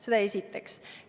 Seda esiteks.